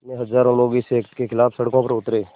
में हज़ारों लोग इस एक्ट के ख़िलाफ़ सड़कों पर उतरे